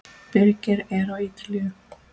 Birgir er á Ítalíu.